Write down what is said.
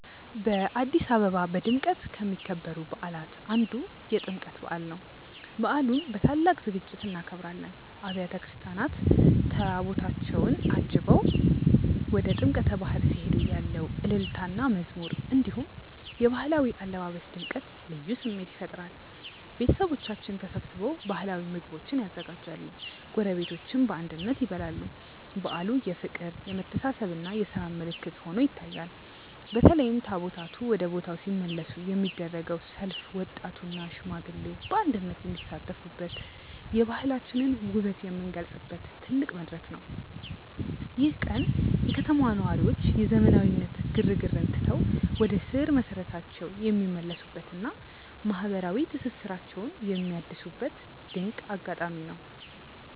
በአዲስ አበባ በድምቀት ከሚከበሩ በዓላት አንዱ የጥምቀት በዓል ነው። በዓሉን በታላቅ ዝግጅት እናከብራለን። አብያተ ክርስቲያናት ታቦታታቸውን አጅበው ወደ ጥምቀተ ባሕር ሲሄዱ ያለው እልልታና መዝሙር፣ እንዲሁም የባህላዊ አለባበስ ድምቀት ልዩ ስሜት ይፈጥራል። ቤተሰቦቻችን ተሰብስበው ባህላዊ ምግቦችን ያዘጋጃሉ፤ ጎረቤቶችም በአንድነት ይበላሉ። በዓሉ የፍቅር፣ የመተሳሰብና የሰላም ምልክት ሆኖ ይታያል። በተለይም ታቦታቱ ወደ ቦታው ሲመለሱ የሚደረገው ሰልፍ ወጣቱና ሽማግሌው በአንድነት የሚሳተፉበት፣ የባህላችንን ውበት የምንገልጽበት ትልቅ መድረክ ነው። ይህ ቀን የከተማዋ ነዋሪዎች የዘመናዊነት ግርግርን ትተው ወደ ስር መሰረታቸው የሚመለሱበትና ማህበራዊ ትስስራቸውን የሚያድሱበት ድንቅ አጋጣሚ ነው።